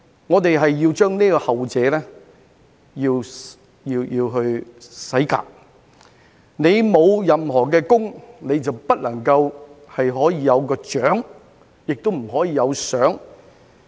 我們要把後者洗革；你沒有任何的功，就不能夠有獎，亦不能夠有賞。